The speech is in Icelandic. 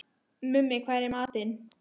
Mummi, hvað er í matinn?